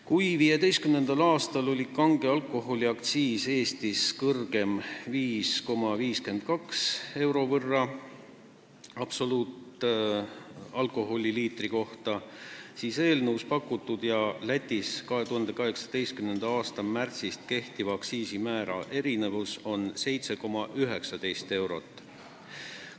Kui 2015. aastal oli kange alkoholi aktsiis Eestis kõrgem 5,52 euro võrra absoluutalkoholi liitri kohta, siis eelnõus pakutud ja Lätis 2018. aasta märtsist kehtiva aktsiisimäära erinevus on 7,19 eurot.